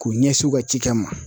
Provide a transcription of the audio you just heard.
K'u ɲɛsin u ka cikɛ ma.